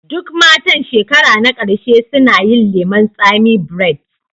Duk matan shekara na ƙarshe suna yin lemun tsami braids